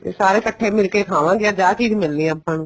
ਵੀ ਸਾਰੇ ਇੱਕਠੇ ਮਿਲ ਕੇ ਖਾਵਾਂਗੇ ਵੀ ਅੱਜ ਇਹ ਚੀਜ਼ ਮਿਲਣੀ ਹੈ ਆਪਾਂ ਨੂੰ